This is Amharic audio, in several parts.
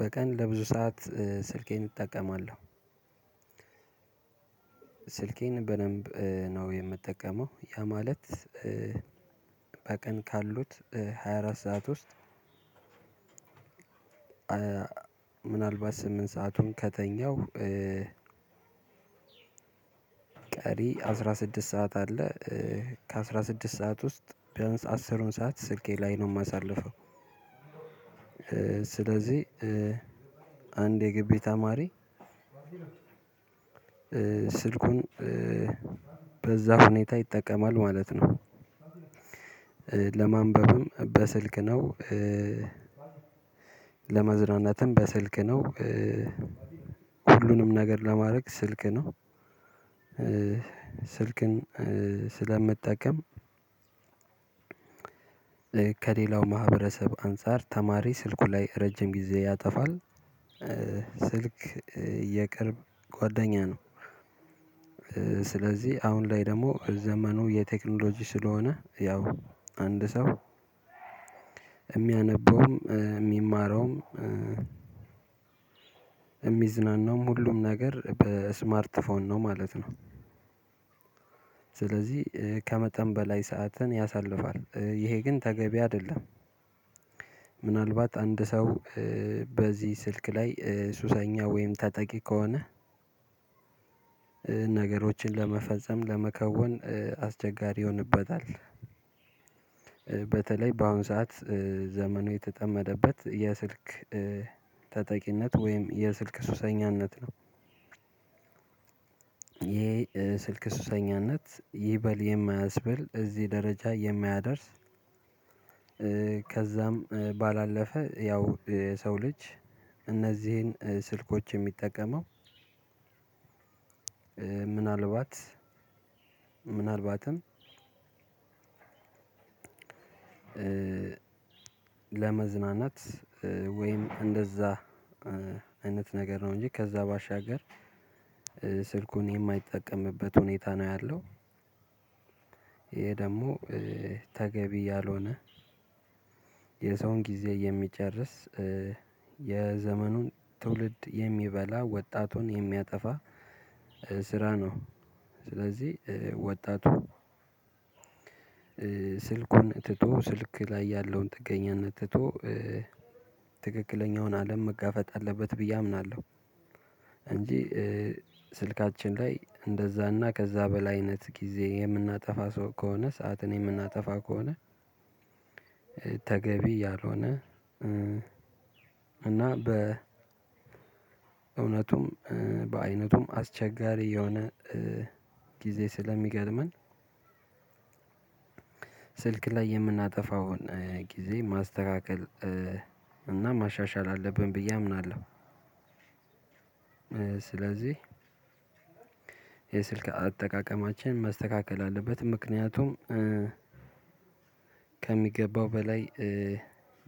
በቀን ለብዙ ሰዓት ስልኬን እጠቀማለሁ። ስልኬን በደንብ ነው የምጠቀመው ያ ማለት በቀን ካሉት ሃያ አራት ሰዓት ውስጥ። ምናልባት ስምንት ሰአቱን ከተኛው ያው ቀሪ አስራ ስድስት ሰዓት አለ። ከአስራ ስድስት ሰዓት ውስጥ ቢያንስ አስሩን ሰዓት ስልኬ ላይ ነው የማሳልፈው። ስለዚህ አንድ የጊቢ ተማሪ ስልኩን በዛ ሁኔታ ይጠቀማል ማለት ነው። ለማንበብም በስልክ ነው። ለመዝናናትም በስልክ ነው። ሁሉንም ነገር ለማድረግ ስልክ ነው። ስልክን ስለምጠቀም። ከሌላው ማህበረሰብ አንፃር ተማሪ ስልኩ ላይ ረጅም ጊዜ ያጠፋል። ስልክ የቅርብ ጓደኛ ነው። ስለዚህ አሁን ላይ ደግሞ ዘመኑ የቴክኖሎጂ ስለሆነ ያው አንድ ሰው የሚያነበውም የሚማረውም የሚዝናናውም ሁሉም ነገር በስማርት ፎን ነው ማለት ነው። ስለዚህ ከመጠን በላይ ሰዓትን ያሳልፋል ይሄ ግን ተገቢ አይደለም። ምናልባት አንድ ሰው በዚህ ስልክ ላይ ሱሰኛ ወይም ተጠቂ ከሆነ ነገሮችን ለመፈጸም ለመከወን አስቸጋሪ ይሆንበታል። በተለይ በአሁን ሰዓት ዘመኑ የተጠመደበት የስልክ ተጠቂነት ወይም የስልክ ሱሰኛነት ነው። ይሄ ስልክ ሱሰኛነት ይበል የማያስበል እዚህ ደረጃ የማያደርስ። ከዛም ባላለፈ ያው የሰው ልጅ እነዚህን ስልኮች የሚጠቀመው ምናልባት ምናልባትም ለመዝናናት ወይም እንደዛ አይነት ነገር ነው እንጂ ከዛ ባሻገር ስልኩን የማይጠቀምበት ሁኔታ ነው ያለው። ይሄ ደግሞ ተገቢ ያልሆነ የሰውን ጊዜ የሚጨርስ የዘመኑን ትውልድ የሚበላ ወጣቱን የሚያጠፋ ስራ ነው። ስለዚህ ወጣቱ ስልኩን ትቶ ስልክ ላይ ያለውን ጥገኛነት ትቶ ትክክለኛውን አለም መጋፈጥ አለበት ብዬ አምናለሁ። እንጂ ስልካችን ላይ እንደዛና ከዛ በላይነት ጊዜ የምናጠፋ ሰው ከሆነ ሰዓትን የምናጠፋ ከሆነ። ተገቢ ያልሆነ እና በ በእውነቱም በአይነቱም አስቸጋሪ የሆነ ጊዜ ስለሚገርመን ስልክ ላይ የምናጠፋውን ጊዜ ማስተካከል እና ማሻሻል አለብን ብዬ አምናለሁ። ስለዚህ የስልክ አጠቃቀማችን መስተካከል አለበት ምክንያቱም ከሚገባው በላይ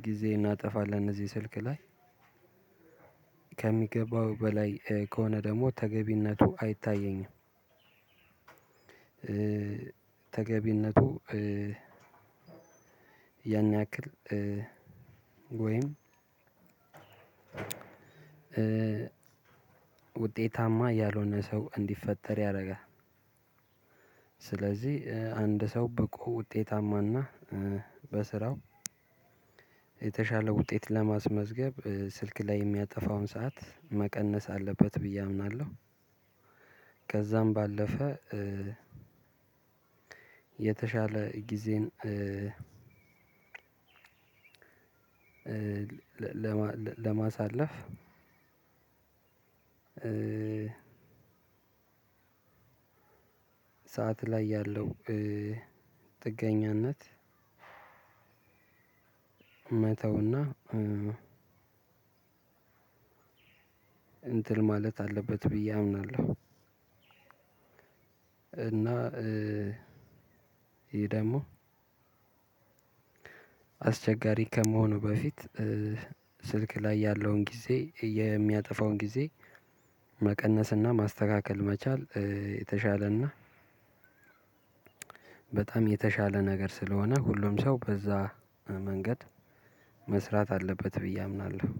ጊዜ እናጠፋለን እዚህ ስልክ ላይ። ከሚገባው በላይ ከሆነ ደግሞ ተገቢነቱ አይታየኝም። ተገቢነቱ ያን ያክል ወይም ውጤታማ ያልሆነ ሰው እንዲፈጠር ያደርጋል። ስለዚህ አንድ ሰው ብቁ ውጤታማና በስራው የተሻለ ውጤት ለማስመዝገብ ስልክ ላይ የሚያጠፋውን ሰዓት መቀነስ አለበት ብዬ አምናለሁ። ከዛም ባለፈ የተሻለ ጊዜን ለማሳለፍ ሰዓት ላይ ያለው ጥገኝነት መተውና እንትን ማለት አለበት ብዬ አምናለሁ። እና ይሄ ደግሞ አስቸጋሪ ከመሆኑ በፊት ስልክ ላይ ያለውን ጊዜ የሚያጠፋውን ጊዜ መቀነስና ማስተካከል መቻል የተሻለና በጣም የተሻለ ነገር ስለሆነ ሁሉም ሰው በዛ መንገድ መስራት አለበት ብዬ አምናለሁ።